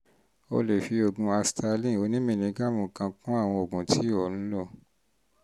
o lè fi um oògùn asthalin onímìlígírámù kan kún àwọn oògùn tí ò ń lò